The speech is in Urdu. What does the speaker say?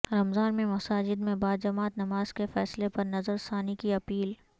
رمضان میں مساجد میں باجماعت نماز کے فیصلے پر نظر ثانی کی اپیل